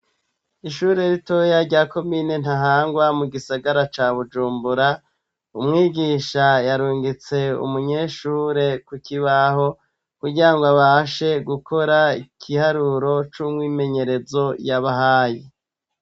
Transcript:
Ishure ritoya rya komine Ntahangwa mu gisagara ca Bujumbura umwigisha yarungitse umunyeshure ku kibaho kugirango abashe gukora igiharuro c'umwimenyerezo y'abahaye.